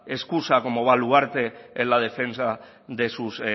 excusa como baluarte en la defensa de sus